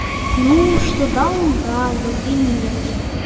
ну что даун да но гений не